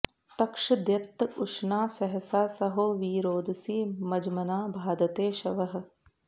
तक्षद्यत्त उशना सहसा सहो वि रोदसी मज्मना बाधते शवः